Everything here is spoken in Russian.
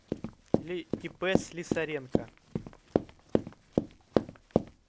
или ип слесаренко